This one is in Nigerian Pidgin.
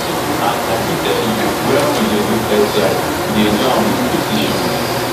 and i fit tell you wen we do airstrikes we dey do am wit precision